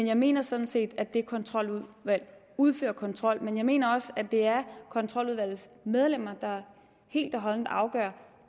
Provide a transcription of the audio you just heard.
jeg mener sådan set at det kontroludvalg udfører kontrol men jeg mener også at det er kontroludvalgets medlemmer der helt og holdent afgør